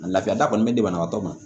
A lafiya kɔni be di banabagatɔ ma